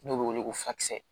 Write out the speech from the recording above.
N'o bɛ wele ko fakisɛ